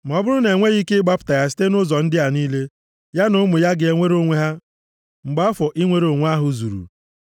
“ ‘Ma ọ bụrụ na e nweghị ike gbapụta ya site nʼụzọ ndị a niile, ya na ụmụ ya ga-enwere onwe ha mgbe afọ inwere onwe ahụ zuru.